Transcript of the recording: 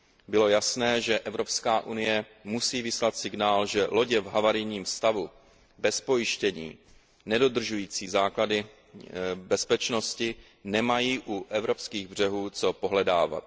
Bylo jasné, že Evropská unie musí vyslat signál, že lodě v havarijním stavu, bez pojištění, nedodržující základní bezpečnostní pravidla nemají u evropských břehů co pohledávat.